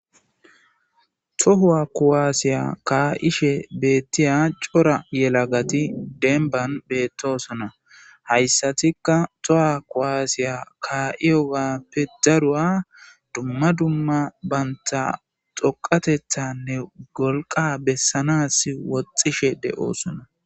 Toho kuwaase kaa7ishe de7iya corag yelagati demban beettoosona hayssatikka toho kuwaasiya kaa7iyoogappe daruwa dumma dumma dhoqqatethanne wolqa bessanaasi woxxishede7oosona.